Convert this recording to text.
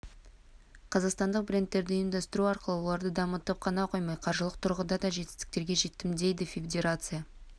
қазақстандық брендтерді ұйымдастыру арқылы оларды дамытып қана қоймай қаржылық тұрғыда да жетістіктерге жеттім дейді федерация